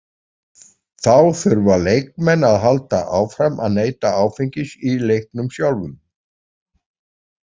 Þá þurfa leikmenn að halda áfram að neyta áfengis í leiknum sjálfum.